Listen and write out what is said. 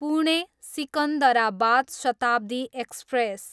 Pune, Secunderabad Shatabdi express